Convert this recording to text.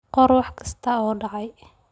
Qor wax kasta oo dhacay.